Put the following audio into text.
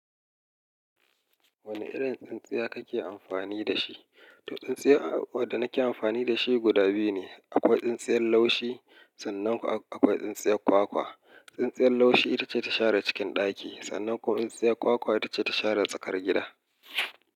Wani irin tsintsiya kake amfani da shi? To, tsintsiya, waɗda nake amfani da shi guda biyu ne. Akwai tsintsiyar laushi sannan ko akwai tsintsiyar kwakwa. Tsintsiyar laushi ita ce ta share cikin ɗaki. Sannan ko tsintsiyar kwa-kwa ita ce ta share tsakar gida.